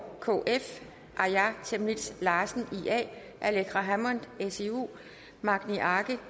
aaja chemnitz larsen aleqa hammond magni arge